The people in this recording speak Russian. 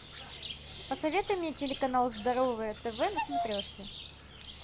посоветуй мне телеканал здоровое тв на смотрешке